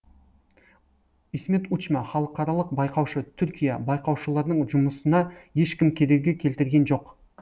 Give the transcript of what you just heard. исмет учма халықаралық байқаушы түркия байқаушылардың жұмысына ешкім кедергі келтірген жоқ